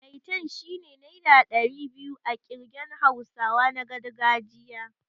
Maitan' shine naira ɗari biyu a ƙirgen hausawa na gargajiya.